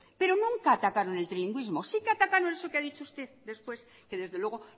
pero nunca atacaron el trilingüismo sí que atacaron eso que ha dicho usted después que desde luego